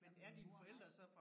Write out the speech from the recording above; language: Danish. Men min mor var